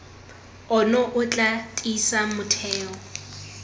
ono o tla tiisa motheo